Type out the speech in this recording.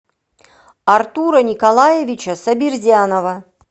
артура николаевича сабирзянова